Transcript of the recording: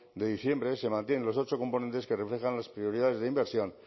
de diciembre se mantienen los ocho componentes que reflejan las prioridades de inversión